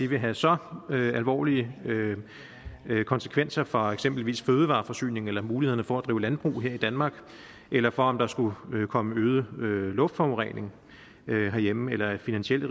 vil have så alvorlige konsekvenser for eksempelvis fødevareforsyningen eller mulighederne for at drive landbrug her i danmark eller for at der skulle komme øget luftforurening herhjemme eller at finansielle